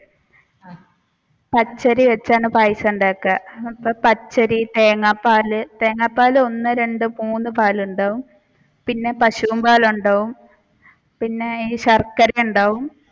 പച്ചരി വെച്ചാണ് പായസം ഉണ്ടാക്കുക അപ്പൊ പച്ചരി തേങ്ങാ പാൽ തേങ്ങാ പാൽ ഒന്ന് രണ്ടു മൂന്ന് പാലുണ്ടാവും പിന്നെ പശുവിൻ പാലുണ്ടാവും പിന്നെ ശർക്കര ഉണ്ടാവും.